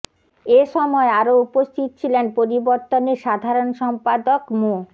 এ সময় আরো উপস্থিত ছিলেন পরিবর্তনের সাধারণ সম্পাদক মো